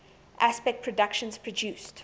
aspect productions produced